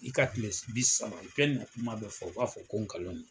I ka kile bi saba kuma dɔ u fɔ, u b'a fɔ ko nkalon don